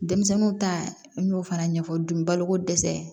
Denmisɛnninw ta n y'o fana ɲɛfɔ dugu balo ko dɛsɛ